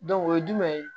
o ye jumɛn ye